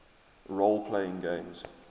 role playing games